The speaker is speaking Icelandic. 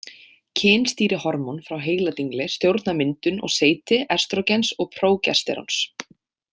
Kynstýrihormón frá heiladingli stjórna myndun og seyti estrógens og prógesteróns.